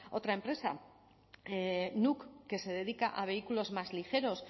otra empresa nuuk que se dedica a vehículos más ligeros